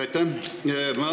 Aitäh!